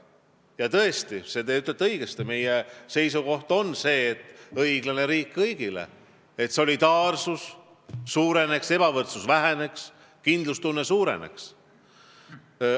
Ja te ütlesite tõesti õigesti: meie seisukoht on "Õiglane riik kõigile", et solidaarsus suureneks, ebavõrdsus väheneks, kindlustunne suureneks.